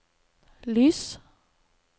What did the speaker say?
lys